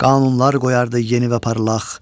Qanunlar qoyardı yeni və parlaq.